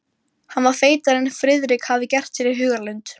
Hann var feitari en Friðrik hafði gert sér í hugarlund.